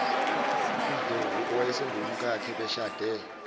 ndlovu owayesengumkakhe beshade